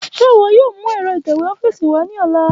Ṣe iwọ yoo mu ẹ́rọ ítẹ́wé ọ́fíìsì wa ni ọla?